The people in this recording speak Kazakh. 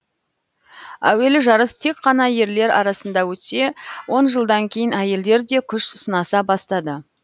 әуелі жарыс тек қана ерлер арасында өтсе он жылдан кейін әйелдер де күш сынаса бастады